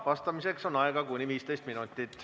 Vastamiseks on aega kuni 15 minutit.